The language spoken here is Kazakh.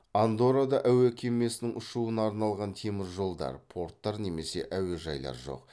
андоррада әуе кемесінің ұшуына арналған теміржолдар порттар немесе әуежайлар жоқ